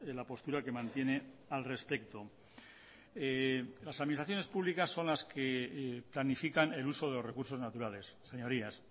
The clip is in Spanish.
la postura que mantiene al respecto las administraciones públicas son las que planifican el uso de los recursos naturales señorías